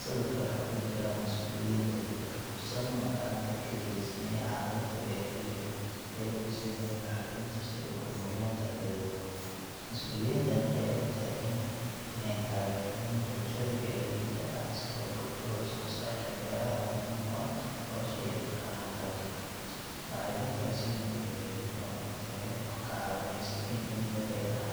Sawirka waxaa ku jira mas’uuliyiin dowladda ka tirsan oo gacanta ka geysanaya caawinta beeraleyda iyagoo siinaya bacriminta si ay u horumariyaan dalagyadooda. Mas’uuliyiintan ayaa u taagan inay taageeraan bulshada beeraleyda ah si loo kordhiyo wax soo saarka beeraha oo muhiim u ah nolosha iyo dhaqaalaha dalka. Bacriminta la siinayo beeraleydu waa mid tayo leh oo ka caawinaysa in ciidda beeraha